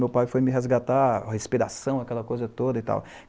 Meu pai foi me resgatar, a respiração, aquela coisa toda e tal.